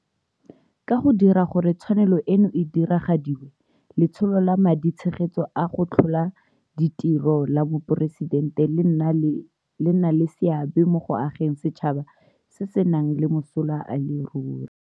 Ka go dira gore tshwanelo eno e diragadiwe, Letsholo la Maditshegetso a go Tlhola Ditiro la Moporesitente le nna le seabe mo go ageng setšhaba se se nang le mosola e le ruri.